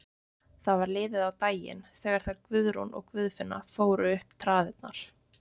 Það var liðið á daginn þegar þær Guðrún og Guðfinna fóru upp traðirnar.